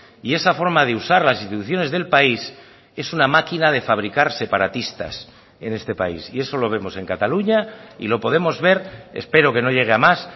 y esa forma de usar las instituciones del país es una máquina de fabricar separatistas en este país y eso lo vemos en cataluña y lo podemos ver espero que no llegue a más